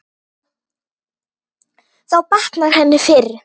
Þá batnar henni fyrr.